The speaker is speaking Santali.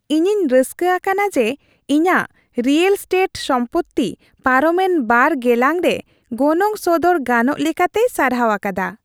ᱤᱧᱤᱧ ᱨᱟᱹᱥᱠᱟᱹ ᱟᱠᱟᱱᱟ ᱡᱮ, ᱤᱧᱟᱹᱜ ᱨᱤᱭᱮᱞ ᱮᱥᱴᱮᱴ ᱥᱚᱢᱯᱚᱛᱛᱤ ᱯᱟᱨᱚᱢᱮᱱ ᱒ ᱜᱮᱞᱟᱝᱨᱮ ᱜᱚᱱᱚᱝ ᱥᱚᱫᱚᱨ ᱜᱟᱱᱚᱜ ᱞᱮᱠᱟᱛᱮᱭ ᱥᱟᱨᱦᱟᱣ ᱟᱠᱟᱫᱟ ᱾